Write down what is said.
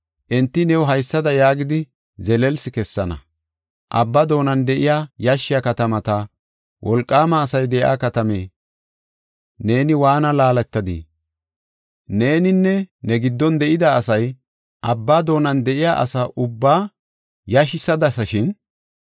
Enti new haysada yaagidi zelelsi kessana: “Abbaa doonan de7iya yashshiya katamata; wolqaama asay de7iya katame, neeni waana laaletadii? Neeninne ne giddon de7ida asay abba doonan de7iya asa ubbaa yashisadasashin.